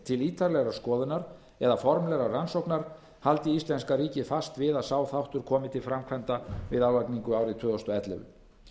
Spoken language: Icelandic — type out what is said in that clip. til ítarlegrar skoðunar eða formlegrar rannsóknar haldi íslenska ríkið fast við að sá þáttur komi til framkvæmda við álagningu árið tvö þúsund og ellefu